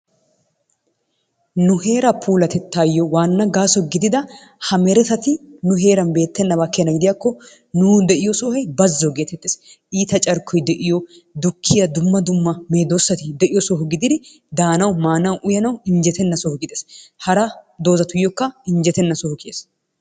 Nu heeraa puulatettaassi waana gaaso gididda ha merettatti nu heeran beetennaba keena gidiyakko nuuni de'iyo sohoy bazzo geetettees, iita carkkoy de'iyo dukkiya dumma dumma medoosati de'iyo soho gididi daanawu, maanawu, uyanawu, injetenna soho kiyees, hara dozzatuyooka injjetenna soho kiyees.